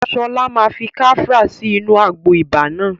Sọlá máa fi kafra sí inú àgbo ibà náà